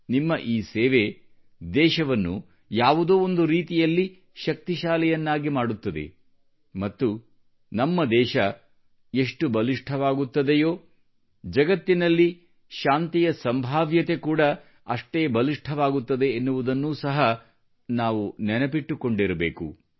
ನಿಮ್ಮ ಈ ಸೇವೆ ದೇಶವನ್ನು ಯಾವುದೋ ಒಂದು ರೀತಿಯಲ್ಲಿ ಶಕ್ತಿಶಾಲಿಯನ್ನಾಗಿ ಮಾಡುತ್ತದೆ ಮತ್ತು ನಮ್ಮ ದೇಶವು ಎಷ್ಟು ಬಲಿಷ್ಠವಾಗುತ್ತದೆಯೋ ಜಗತ್ತಿನಲ್ಲಿ ಶಾಂತಿಯ ಸಂಭಾವ್ಯತೆ ಕೂಡ ಬಲಿಷ್ಠವಾಗುತ್ತದೆ ಎನ್ನುವುದನ್ನು ಸಹ ನಾವು ನೆನಪಿಟ್ಟು ಕೊಂಡಿರಬೇಕು